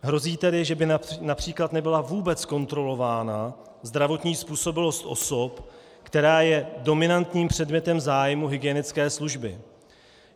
Hrozí tedy, že by například nebyla vůbec kontrolována zdravotní způsobilost osob, která je dominantním předmětem zájmu hygienické služby.